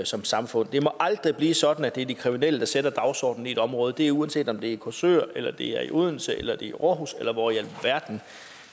som samfund det må aldrig blive sådan at det er de kriminelle der sætter dagsordenen i et område og det er uanset om det er i korsør eller det er i odense eller det er i aarhus eller hvor i alverden